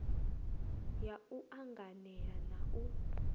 ya u anganela na u